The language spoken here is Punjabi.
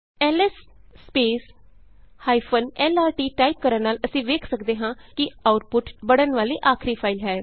ਐਲਐਸ lrt ਟਾਈਪ ਕਰਨ ਨਾਲ ਅਸੀਂ ਵੇਖ ਸਕਦੇ ਹਾਂ ਕਿ ਆਉਟਪੁਟ ਬਣਨ ਵਾਲੀ ਆਖਰੀ ਫਾਈਲ ਹੈ